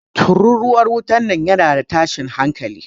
Tururuwar wutan nan yana da tashin hanƙali.